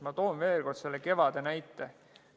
Ma toon veel kord selle kevade näite.